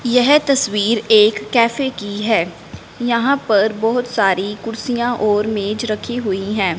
यह तस्वीर एक कैफे की हैं यहां पर बहोत सारी कुर्सियां और मेज रखी हुईं हैं।